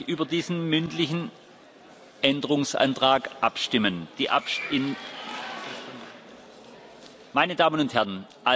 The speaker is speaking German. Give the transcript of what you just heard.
Dann lasse ich über diesen mündlichen Änderungsantrag abstimmen. Meine Damen und Herren!